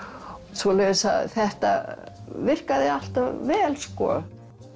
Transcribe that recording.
svoleiðis að þetta virkaði alltaf vel sko